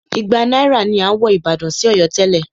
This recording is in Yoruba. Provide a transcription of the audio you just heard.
Igba náírà ni à ń wọ ìbàdàn sí Ọ̀yọ́ tẹ́lẹ̀.